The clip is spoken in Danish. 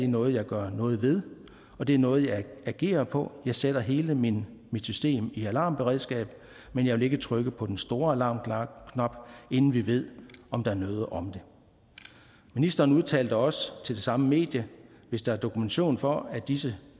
noget jeg gør noget ved og det er noget jeg agerer på jeg sætter hele mit system i alarmberedskab men jeg vil ikke trykke på den store alarmknap inden vi ved om der er noget om det ministeren udtalte også til det samme medie hvis der er dokumentation for at disse